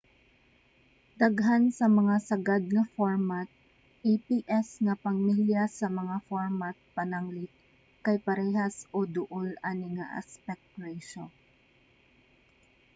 daghan sa mga sagad nga format aps nga pamilya sa mga format pananglit kay parehas o duol ani nga aspect ratio